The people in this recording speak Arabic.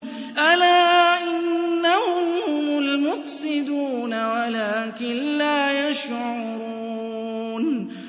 أَلَا إِنَّهُمْ هُمُ الْمُفْسِدُونَ وَلَٰكِن لَّا يَشْعُرُونَ